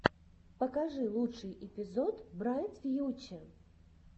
покажи лучший эпизод брайт фьюче